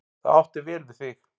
Það átti vel við þig.